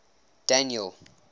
daniel